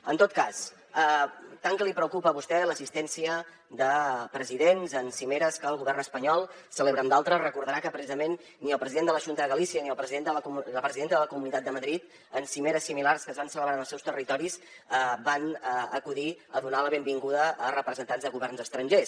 en tot cas tant que li preocupa a vostè l’assistència de presidents en cimeres que el govern espanyol celebra amb d’altres deu recordar que precisament ni el president de la xunta de galicia ni la presidenta de la comunitat de madrid en cimeres similars que es van celebrar en els seus territoris van acudir a donar la benvinguda a representants de governs estrangers